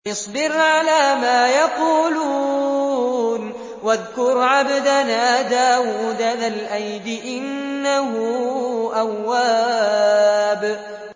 اصْبِرْ عَلَىٰ مَا يَقُولُونَ وَاذْكُرْ عَبْدَنَا دَاوُودَ ذَا الْأَيْدِ ۖ إِنَّهُ أَوَّابٌ